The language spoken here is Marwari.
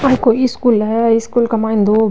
ये कोई स्कूल है स्कूल के माय दो --